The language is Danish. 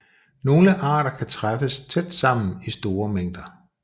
Nogle arter kan træffes tæt sammen i store mængder